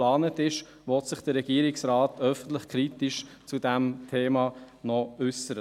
: Will sich der Regierungsrat noch öffentlich und kritisch zu diesem Thema äussern?